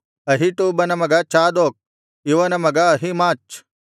ಅಹೀಟೂಬನ ಮಗ ಚಾದೋಕ್ ಇವನ ಮಗ ಅಹಿಮಾಚ್